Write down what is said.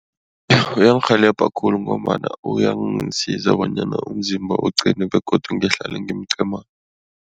Uyangirhelebha khulu ngombana uyangasiza bonyana umzimba uqine begodu ngihlale ngimqimana.